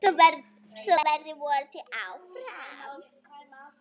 Svo verður vonandi áfram.